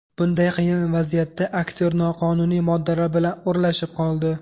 Bunday qiyin vaziyatda aktyor noqonuniy moddalar bilan o‘ralashib qoldi.